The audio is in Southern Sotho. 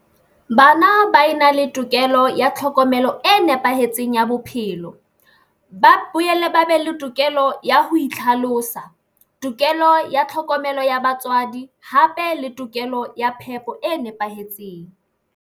Bana ba e na le tokelo ya tlhokomelo e nepahetseng ya bophelo ba boyele, ba be le tokelo ya ho itlhalosa tokelo ya tlhokomelo ya batswadi hape le tokelo ya phepo e nepahetseng.